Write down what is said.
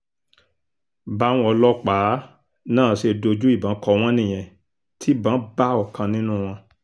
báwọn ọlọ́pàá náà ṣe dojú ìbọn kọ wọ́n nìyẹn tí ìbọn bá ọ̀kan nínú wọn